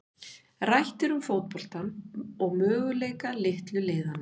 Rætt er um fótboltann og möguleika litlu liðanna.